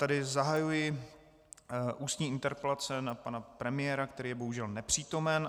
Tedy zahajuji ústní interpelace na pana premiéra, který je bohužel nepřítomen.